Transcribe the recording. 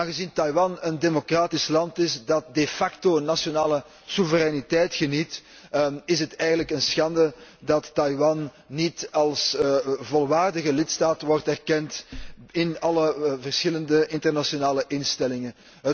Aangezien Taiwan een democratisch land is dat nationale soevereiniteit geniet, is het eigenlijk een schande dat Taiwan niet als volwaardige lidstaat wordt erkend in alle verschillende internationale instellingen.